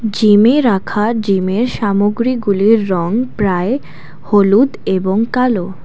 জিমে রাখা জিমের সামগ্রীগুলির রং প্রায় হলুদ এবং কালো।